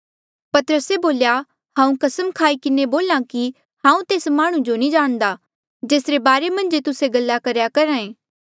पतरसे बोल्या हांऊँ कसम खाई किन्हें बोल्हा कि हांऊँ तेस माह्णुं जो नी जाणदा जेसरे बारे मन्झ जे तुस्से गल्ला करेया करहा ऐें